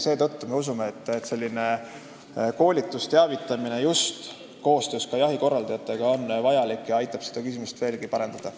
Seetõttu me usume, et selline koolitus ja teavitamine just koostöös jahikorraldajatega on vajalik ning aitab seda küsimust veelgi parendada.